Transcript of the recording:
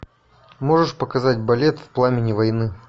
можешь показать балет в пламени войны